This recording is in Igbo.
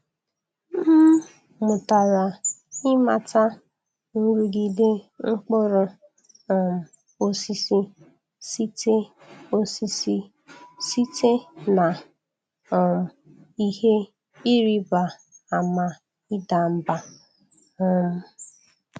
M mụtara ịmata nrụgide mkpụrụ um osisi site osisi site na um ihe ịrịba ama ịda mbà. um